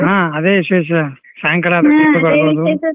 ಹಾ ಅದೇ ವಿಶೇಷ ಸಾಯಂಕಾಲ.